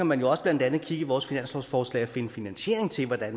man jo blandt andet kigge i vores finanslovsforslag finde finansiering til at